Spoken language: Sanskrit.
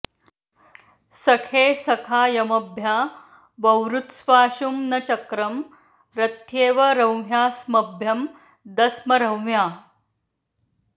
सखे॒ सखा॑यम॒भ्या व॑वृत्स्वा॒शुं न च॒क्रं रथ्ये॑व॒ रंह्या॒स्मभ्यं॑ दस्म॒ रंह्या॑